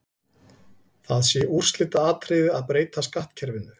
Það sé úrslitaatriði að breyta skattkerfinu.